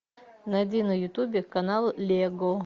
найди на ютубе канал лего